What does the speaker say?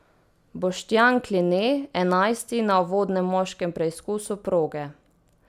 Boštjan Kline enajsti na uvodnem moškem preizkusu proge.